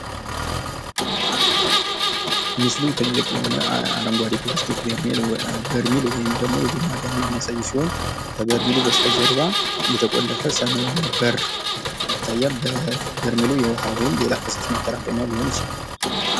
ምስሉ ትልቅ የሆነ አረንጓዴ የፕላስቲክ በርሜልን ወይም የጎማ ጋንን የሚያሳይ ሲሆን፤ ከበስተጀርባ ሰማያዊ የተቆለፈ በር ይታያል። በርሜሉ የውሃ ወይም የሌላ ፈሳሽ ማጠራቀሚያ ሊሆን ይችላል ።